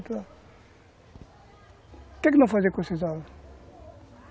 O que é que vão fazer com esses ovos?